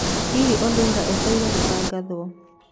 Hihi Olunga etereire gũtagatho?